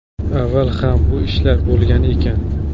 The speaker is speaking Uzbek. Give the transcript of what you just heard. Avval ham bu ishlar bo‘lgan ekan.